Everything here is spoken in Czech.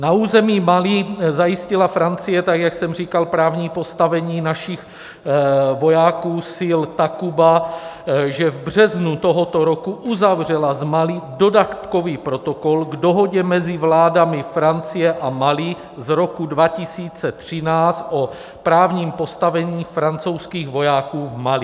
Na území Mali zajistila Francie, tak jak jsem říkal, právní postavení našich vojáků sil Takuba, že v březnu tohoto roku uzavřela s Mali dodatkový protokol k dohodě mezi vládami Francie a Mali z roku 2013 o právním postavení francouzských vojáků v Mali.